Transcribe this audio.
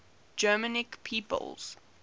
germanic peoples